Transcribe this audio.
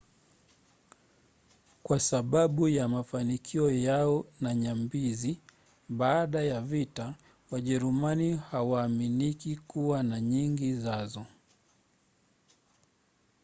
kwa sababu ya mafanikio yao na nyambizi baada ya vita wajerumani hawaaminiki kuwa na nyingi zazo